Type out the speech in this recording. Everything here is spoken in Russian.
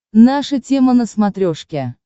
наша тема на смотрешке